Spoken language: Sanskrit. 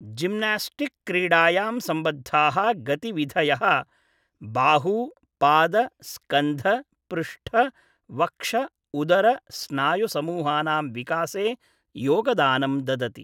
जिम्नास्टिक् क्रीडायां सम्बद्धाः गतिविधयः बाहू पाद स्कन्ध पृष्ठ वक्ष उदर स्नायु समूहानां विकासे योगदानं ददति ।